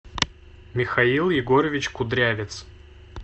михаил егорович кудрявец